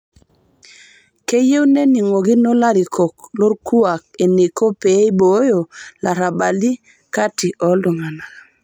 Keyieu nening'okino larikok lokuak eneiko pee eiboyoo larabali kati oltung'ana.